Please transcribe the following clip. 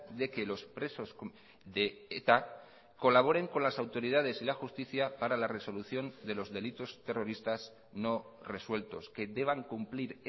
de que los presos de eta colaboren con las autoridades y la justicia para la resolución de los delitos terroristas no resueltos que deban cumplir